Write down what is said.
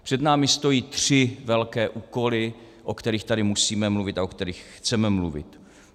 Před námi stojí tři velké úkoly, o kterých tady musíme mluvit a o kterých chceme mluvit.